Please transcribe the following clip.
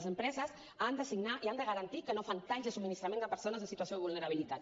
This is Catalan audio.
les empreses han de signar i han de garantir que no fan talls de subministrament a persones en situació de vulnerabilitat